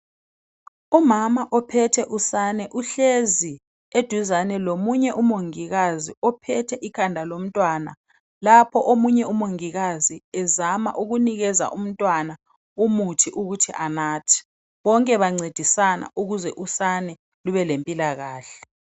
Umama uphethe usane uhlezi duzane lomongikazi uncedisa umama ukabamba ikhanda lomtwana, lapho omunye umongikazi unathisa umntwana umuthi ukuze athole ukwelatshwa abelempilakahle.